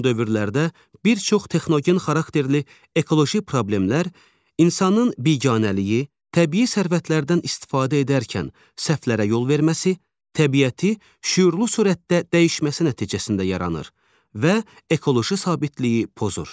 Son dövrlərdə bir çox texnogen xarakterli ekoloji problemlər, insanın biganəliyi, təbii sərvətlərdən istifadə edərkən səhvlərə yol verməsi, təbiəti şüurlu sürətdə dəyişməsi nəticəsində yaranır və ekoloji sabitliyi pozur.